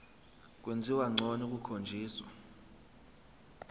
kwenziwa ngcono kukhonjiswa